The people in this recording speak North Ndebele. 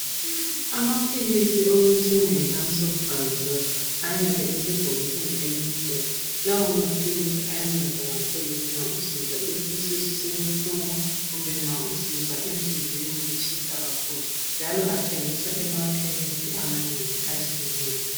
Amaphilisi okuthiwa yi lansoprazole ayabe esemabhokisini elimhlophe. Lawa maphilisi ayanceda kakhulu nxa usizwa isisu sibuhlungu kumbe nxa usizwa enhliziweni kutshisa kakhulu njalo athengiswa emafamasi amanengi atshiyeneyo.